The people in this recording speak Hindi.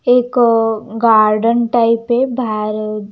एक गार्डन टाइप है भार --